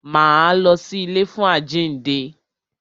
Máa lọ sí ilé fún àjínde.